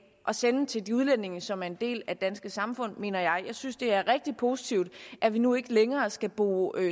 at sende til de udlændinge som er en del af det danske samfund mener jeg og jeg synes det er rigtig positivt at vi nu ikke længere skal bruge